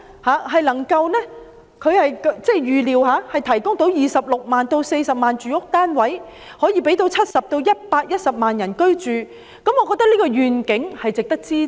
既然當局預料計劃可以提供26萬至46萬個住屋單位，可以供70萬至110萬人居住，我認為這個願景便值得支持。